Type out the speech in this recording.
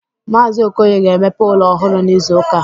Mazi Okoye ga emepe ụlọ ọhụrụ n'izuka a